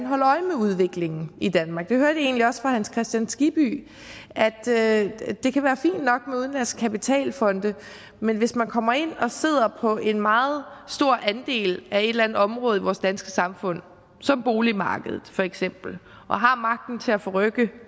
holde øje med udviklingen i danmark jeg hørte egentlig også fra hans kristian skibby at det det kan være fint nok med udenlandske kapitalfonde men hvis man kommer ind og sidder på en meget stor andel af et eller andet område i vores danske samfund som boligmarkedet feks og har magten til at forrykke